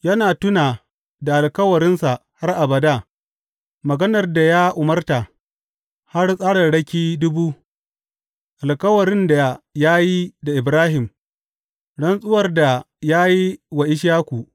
Yana tuna da alkawarinsa har abada, maganar da ya umarta, har tsararraki dubu, alkawarin da ya yi da Ibrahim, rantsuwar da ya yi wa Ishaku.